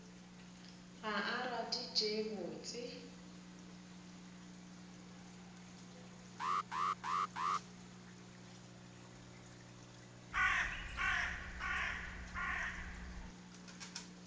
ga a rate tše botse